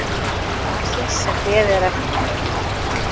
Mannsins sem beðið er eftir.